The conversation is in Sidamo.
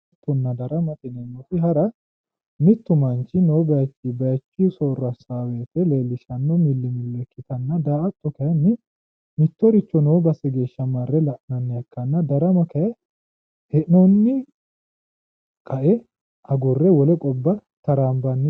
haranna daramate yineemmoti hara mittu manchi noo bayiichinni bayiichu soorro assanno wote leellishshanno millimillo ikkitanna daa''atto kayiinni mittoricho noo base geeshsha marre la'nannita ikkitanna darama kayii hee'noonni qae qgurre wole gobba taraambanni ,,